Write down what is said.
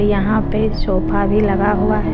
यहां पे सोफा भी लगा हुआ है।